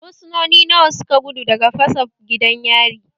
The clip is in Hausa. Fursunoni nawa suka gudu daga fasa gidan yari?